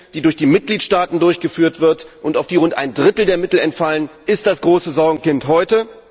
die durch die Mitgliedstaaten durchgeführt wird und auf die rund ein Drittel der Mittel entfallen, ist das große Sorgenkind heute.